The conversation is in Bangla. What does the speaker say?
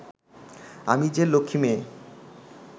আমি যে লক্ষ্মী মেয়ে